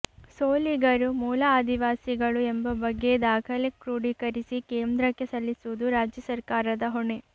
ಸೋಲಿಗರು ಮೂಲಆದಿವಾಸಿಗಳು ಎಂಬ ಬಗ್ಗೆ ದಾಖಲೆ ಕ್ರೋಡೀಕರಿಸಿ ಕೇಂದ್ರಕ್ಕೆ ಸಲ್ಲಿಸುವುದು ರಾಜ್ಯ ಸರ್ಕಾರದ ಹೊಣೆ